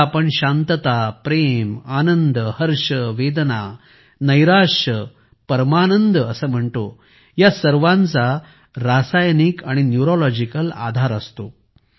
ज्याला आपण शांतता प्रेम आनंद हर्ष वेदना नैराश्य परमानंद म्हणतो या सर्वांचा रासायनिक आणि न्यूरोलॉजिकल आधार असतो